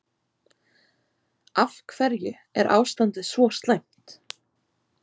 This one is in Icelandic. Af hverju er ástandið svo slæmt?